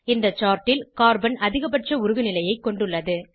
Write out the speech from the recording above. இந்த chartல் கார்பன் அதிகபட்ச உருகுநிலையைக் கொண்டுள்ளது